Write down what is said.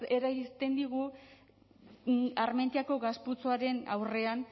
eragiten digu armentiako gas putzuaren aurrean